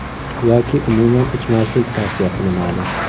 Yoki umuman ichmaslik tavsiya qilinadi.